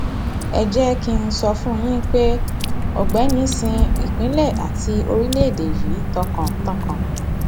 ẹ jẹ kí n sọ fún yín pé ọgbẹni sin ìpínlẹ àti orílẹèdè yìí tọkàntọkàn